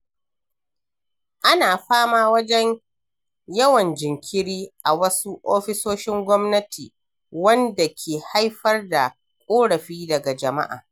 Ana fama da yawan jinkiri a wasu ofisoshin gwamnati, wanda ke haifar da ƙorafi daga jama'a.